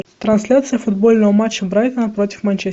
трансляция футбольного матча брайтона против манчестера